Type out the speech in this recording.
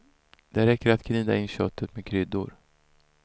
Det räcker att gnida in köttet med kryddor.